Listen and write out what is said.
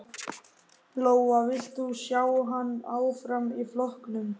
Lóa: Vilt þú sjá hann áfram í flokknum?